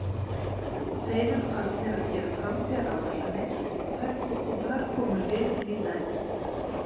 Þeir eru farnir að gera framtíðaráætlanir og þar komum við inní dæmið.